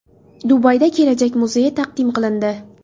Dubayda kelajak muzeyi taqdim qilindi.